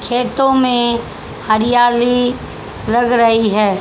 खेतों में हरियाली लग रही है।